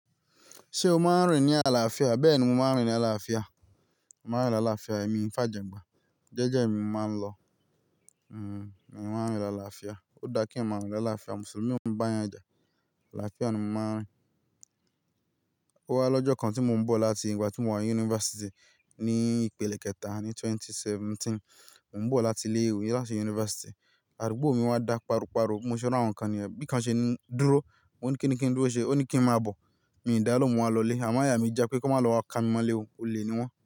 Ṣé o máa ń rìn ní àlàáfíà? Bẹ́ẹ̀ ni mo máa ń rìn ní àlàáfíà. Mo máa ń rìn ní àlàáfíà, èmi ń fà jàngbọn. Jẹ́jẹ́ mi mo máa ń lọ. Hmm, mo máa ń rìn ní àlàáfíà. Ó dá kí n máa rìn ní àlàáfíà. Mùsùlùmí ò kiń bá èèyàn ja. Àlàáfíà ni mo máa ń rìn. O wá lọ́jọ́ kan tí mo ń bọ̀ láti ìgbà tí mo wà ní yunifásítì ní ìpele kẹta ní ẹgbẹ̀rún méjì ó lé mẹ́tàdínlógún. Mo ń bọ̀ láti ilé ìwé láti yunifásítì, àdúgbò mi wá dá páro páro. Bi mo ṣé ri awọn kàn nìyẹn, bí kan ṣe ní dúró, mo ní kí ni kí n dúró ṣe, ó ní kí n má bọ̀. Mi ò dá lóhùn, mo wá lọlé. Àmọ ayà mi já pé kí wọ́n má lọ wá ká mi mọ́lé o, olè ni wọ́n.